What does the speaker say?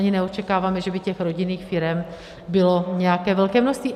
Ani neočekáváme, že by těch rodinných firem bylo nějaké velké množství.